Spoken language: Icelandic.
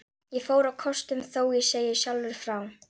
Ég fór á kostum, þó ég segi sjálfur frá.